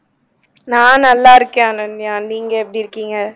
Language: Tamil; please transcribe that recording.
நான் நல்லா இருக்கேன் அனன்யா நீங்க எப்படி இருக்கீங்க